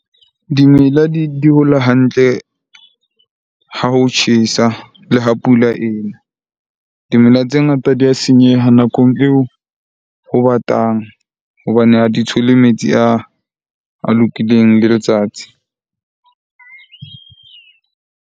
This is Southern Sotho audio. Dimela di hola hantle ha ho tjhesa le ha pula ena. Dimela tse ngata di ya senyeha nakong eo ho batang hobane ha di thole metsi a lokileng le letsatsi.